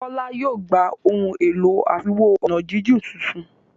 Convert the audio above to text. Kola yóò gbà Ohun èlò àfiwo-ọ̀nàjíjìn títún.